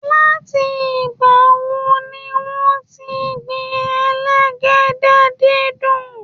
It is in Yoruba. Láti ìgbà wo ni wọ́n ti ń gbin elégédé-dídùn?